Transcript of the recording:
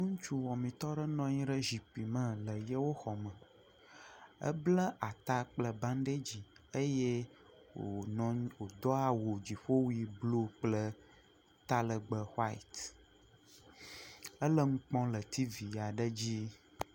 Ŋutsuwɔmetɔ aɖe nɔnyi ɖe zikpime le yewo xɔme. Ebla ata kple banɖedzi. Eye wò nyɔŋu, wòdo awu dziƒowui bluu kple talɛgbɛ huaɛt. Ele nu kpɔm le tiivi aɖe dzi.